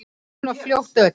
Bara svona fljót að öllu.